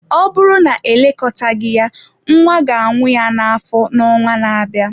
Ọ bụrụ na elekọtaghị ya, nwa ga anwụ ya na-afọ n'ọnwa na-abịa.